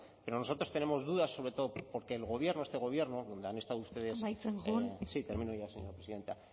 pero nosotros tenemos dudas sobre todo porque el gobierno este gobierno donde han estado ustedes amaitzen joan sí termino ya señora presidenta